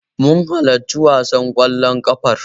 Mun halarci wasan ƙwallon ƙafar.